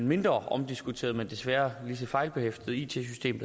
mindre omdiskuterede men desværre lige så fejlbehæftede it system